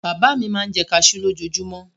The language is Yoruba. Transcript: Bàbá mi máa ń jẹ kaṣú lójoojúmọ́.